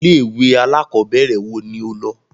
Ilé ìwé alákọ̀berẹ̀ wo ni o lọ?